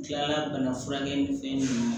Tila bana furakɛ ni fɛn ninnu